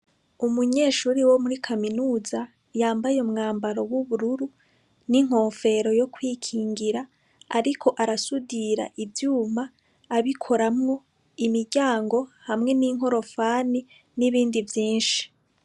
Umunyeshuri wo muri Kaminuza yambaye wubururu n'inkofero yo kwikingira ariko arasudira ivyuma abikoraho imiryango hamwe ninkorofani n'ibindi vyinshi.